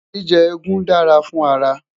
jíjẹ egún dá fún ara